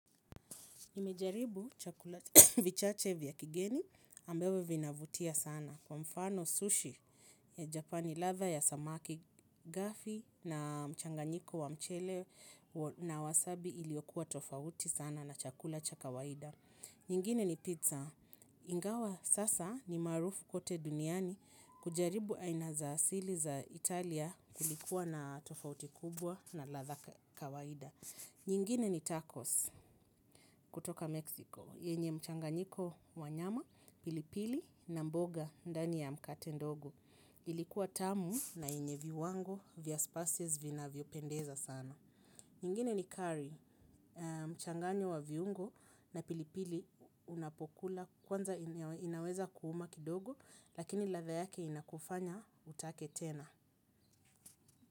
Nimejaribu chakula vichache vya kigeni ambavyo vinavutia sana, kwa mfano sushi ya Japani, ladha ya samaki gafi na mchanganyiko wa mchele na wasabi iliyokuwa tofauti sana na chakula cha kawaida nyingine ni pizza. Ingawa sasa ni maarufu kote duniani kujaribu aina za asili za Italia kulikuwa na tofauti kubwa na ladha kawaida. Nyingine ni tacos kutoka Mexico, yenye mchanganyiko wa nyama, pilipili na mboga ndani ya mkate ndogo. Ilikuwa tamu na yenye viwango vya spices vinavyo pendeza sana. Nyingine ni curry, mchanganyo wa viungo na pilipili unapokula kwanza inaweza kuuma kidogo, lakini ladha yake inakufanya utake tena.